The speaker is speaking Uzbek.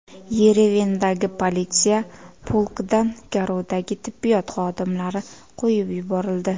Yerevandagi politsiya polkidan garovdagi tibbiyot xodimlari qo‘yib yuborildi.